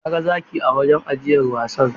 Na ga zaki a wurin ajiyar wasan.